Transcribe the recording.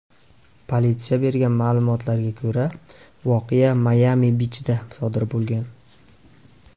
Politsiya bergan ma’lumotlarga ko‘ra, voqea Mayami-bichda sodir bo‘lgan.